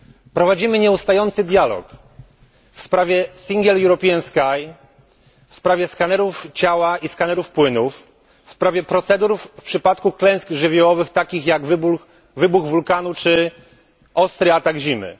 Prowadzimy nieustający dialog w sprawie Single European Sky, w sprawie skanerów ciała i skanerów płynów, w sprawie procedur w przypadku klęsk żywiołowych, takich jak wybuch wulkanu czy ostry atak zimy.